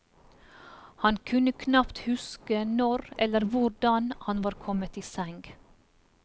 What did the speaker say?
Han kunne knapt huske når eller hvordan han var kommet i seng.